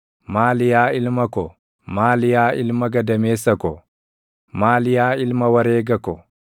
“Maali yaa ilma ko, maali yaa ilma gadameessa ko, maali yaa ilma wareega ko,